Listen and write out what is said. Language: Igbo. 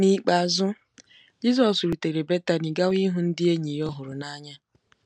N’ikpeazụ,, Jizọs rutere Betani gawa ịhụ ndị enyi ya ọ hụrụ n’anya.